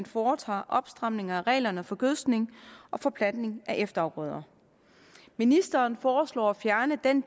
foretager opstramninger af reglerne for gødskning og for plantning af efterafgrøder ministeren foreslår at fjerne den